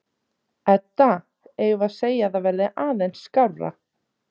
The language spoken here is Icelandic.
Edda: Eigum við að segja að það verði aðeins skárra?